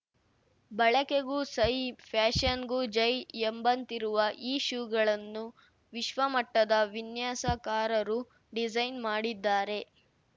ಬಳಕೆಗೂ ಸೈ ಫ್ಯಾಶನ್‌ಗೂ ಜೈ ಎಂಬಂತಿರುವ ಈ ಶೂಗಳನ್ನು ವಿಶ್ವಮಟ್ಟದ ವಿನ್ಯಾಸಕಾರರು ಡಿಸೈನ್‌ ಮಾಡಿದ್ದಾರೆ